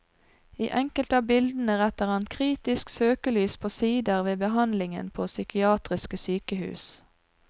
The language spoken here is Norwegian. I enkelte av bildene retter han kritisk søkelys på sider ved behandlingen på psykiatriske sykehus.